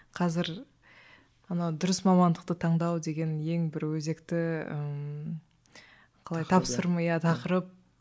қазір анау дұрыс мамандықты таңдау деген ең бір өзекті ммм қалай тақырып